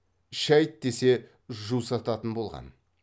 шайт десе жусататын болған